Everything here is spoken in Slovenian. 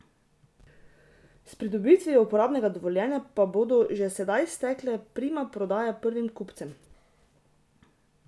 S pridobitvijo uporabnega dovoljenja pa bodo že sedaj stekle primopredaje prvim kupcem.